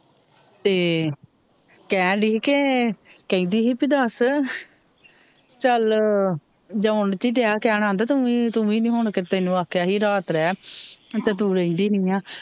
ਤੇ ਕਹਿਣ ਡੇਇ ਕਿ ਕਹਿਦੀ ਹੀ ਦੱਸ ਚੱਲ ਜੋਨ ਕੀ ਕਹਿਣਾ ਆਂਦਾ ਤੂਵੀ ਨੀ ਹੁਣ ਤੈਨੂੰ ਆਖਿਆ ਹੀ ਰਾਤ ਰਿਹ ਤੇ ਤੂ ਰਹਿੰਦੀ ਨੀ ਆ,